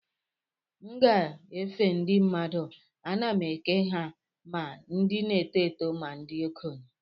M gafee ndị mmadụ, ana m eke ha ma ndị n'eto eto ma ndị okenye.